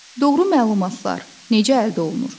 Doğru məlumatlar necə əldə olunur?